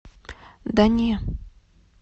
да не